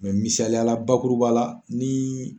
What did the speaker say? misaliyala bakuruba ya la, ni